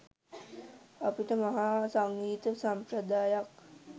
අපිට මහා සංගීත සම්ප්‍රදායක්